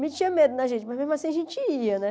Metia medo da gente, mas mesmo assim a gente ia, né?